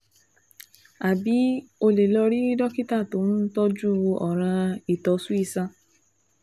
Àbí o lè lọ rí dókítà tó ń tọ́jú ọ̀ràn ìtọ̀sùn iṣan